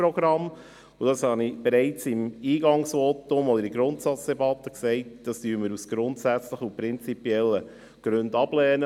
Ich habe bereits im Eingangsvotum respektive in der Grundsatzdebatte gesagt, dass wir das prinzipiell und grundsätzlich ablehnen.